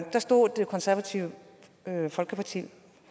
stod det konservative folkeparti